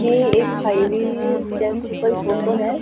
ये एक हाईवे जैसी कोई फोटो है।